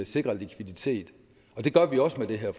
sikrer likviditet og det gør vi også med det her